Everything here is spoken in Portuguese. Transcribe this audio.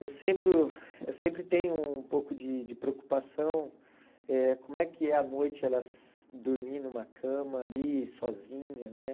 Eu sempre uh eu sempre tenho um pouco de de preocupação, eh como é que é a noite, ela dormir numa cama ali, sozinha, né?